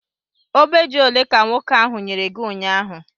Ogbe ji ole ka nwoke ahụ nyere gi ụnyaahụ?